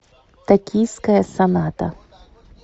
токийская соната